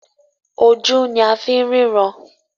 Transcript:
ojú ní a fín ríran.